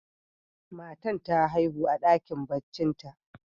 Matan ta haihu a dakin barcin ta.